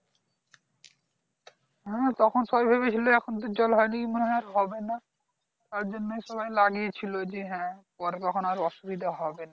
হ্যাঁ তখন তো সবাই ভেবেছিলো এখন জল হয়নি মানে আর হবে না তারজন্যই সবাই লাগিয়াছিল যে হ্যাঁ পরে কখনো আর অসুবিধা হবে না